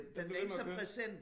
Den bliver ved med at køre